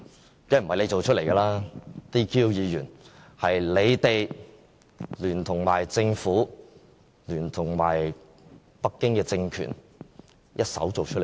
當然不是他們造出來的 ，"DQ" 議員是他們聯同政府和北京政權一手造出來的。